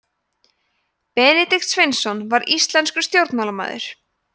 benedikt sveinsson var íslenskur stjórnmálamaður